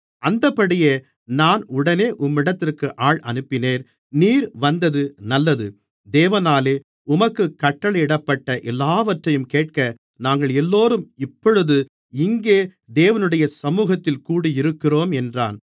அந்தப்படியே நான் உடனே உம்மிடத்திற்கு ஆள் அனுப்பினேன் நீர் வந்தது நல்லது தேவனாலே உமக்குக் கட்டளையிடப்பட்ட எல்லாவற்றையும் கேட்க நாங்கள் எல்லோரும் இப்பொழுது இங்கே தேவனுடைய சமுகத்தில் கூடியிருக்கிறோம் என்றான்